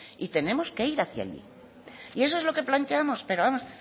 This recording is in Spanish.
y tenemos que ir hacía allí y eso es lo que plantemos pero vamos